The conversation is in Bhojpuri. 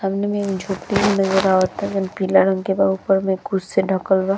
सामने में एगो झोपरी नज़र अवता जौन पीला रंग के बा। ऊपर में कुछ से ढकल बा।